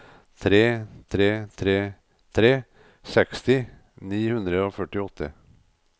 tre tre tre tre seksti ni hundre og førtiåtte